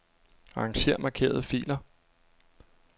Arranger markerede filer.